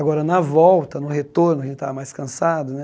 Agora, na volta, no retorno, a gente estava mais cansado, né?